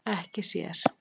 Ekki sér.